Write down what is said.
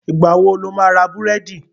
Ìgbà wo lo máa ra búrẹ́dì?